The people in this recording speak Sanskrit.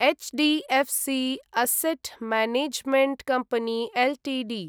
HD एफ्सी asset management company Ltd